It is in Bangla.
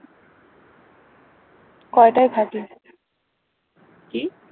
কি